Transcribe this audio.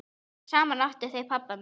Saman áttu þau pabba minn.